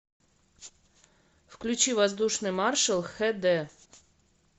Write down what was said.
включи воздушный маршал хд